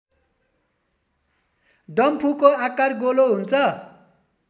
डम्फुको आकार गोलो हुन्छ